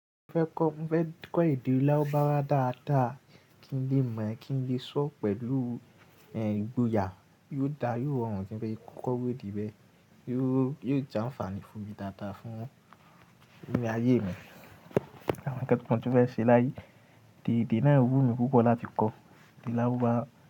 Mo fẹ́ kọ́, mo fẹ́ kọ́ èdè Lárúbáwá dáadáa kí n lè mọ̀, kí n lè sọ̀ pẹ̀lú, ehn, ìgboyà. Yóò dáa, yóò rọrùn kí n lè kọ́ iru èdè bẹ́ẹ̀. Yóò, yóò jẹ́ àǹfààní fún mi dáadáa, fún, eré ayé mi. Àwọn tekun tí mo fẹ́ ṣe láyé. Èdè náà ń wú mi púpọ̀ láti kọ́. Èdè Lárúbáwá.